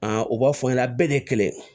u b'a fɔ n ɲɛna bɛɛ de ye kɛlɛ ye